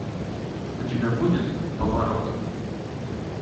у тебя будет поворот